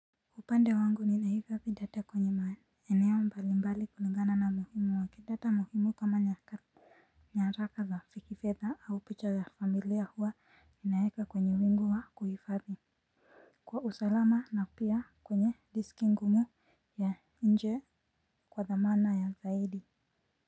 Upande wangu ninahifadhi data kwenye maeneo mbalimbali kulingana na umuhimu wake data muhimu kama nyaka. Nyaraka za kifedha au picha ya familia huwa ninaweka kwenye wingu wa kuhifadhi kwa usalama na pia kwenye diski ngumu ya nje kwa thamana ya zaidi.